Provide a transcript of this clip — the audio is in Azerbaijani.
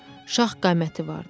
Şah qaməti vardı.